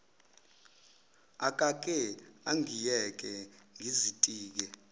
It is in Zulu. akake angiyeke ngizitike